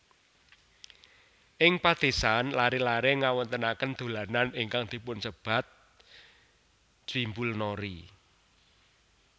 Ing padesan laré laré ngawontenaken dolanan ingkang dipunsebat jwibulnori